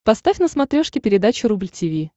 поставь на смотрешке передачу рубль ти ви